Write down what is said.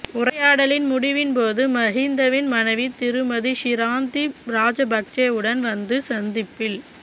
உரையாடலின் முடிவின்போது மஹிந்தவின் மனைவி திருமதி ஷிராந்தி ராஜபக்ஷவும் வந்து சந்திப்பில்